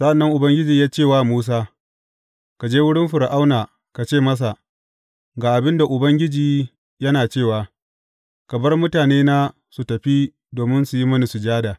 Sa’an nan Ubangiji ya ce wa Musa, Ka je wurin Fir’auna, ka ce masa, Ga abin da Ubangiji yana cewa, ka bar mutanena su tafi domin su yi mini sujada.